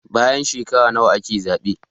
Bayan shekara nawa ake zabe